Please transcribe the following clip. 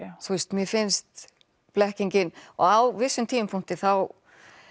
mér finnst blekkiningog á vissum tímapunkti þá